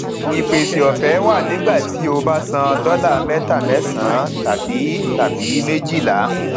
ìpèsè òfé wà nígbà tí o bá san dọlà mẹta mẹsànán tàbí tàbí méjìlá